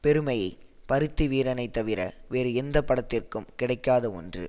பெருமையை பருத்திவீரனை தவிர வேறு எந்த படத்திற்கும் கிடைக்காத ஒன்று